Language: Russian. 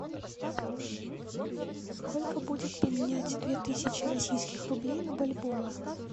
сколько будет поменять две тысячи российских рублей на бальбоа